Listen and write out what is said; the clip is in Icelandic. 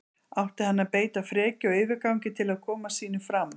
Átti hann að beita frekju og yfirgangi til að koma sínu fram?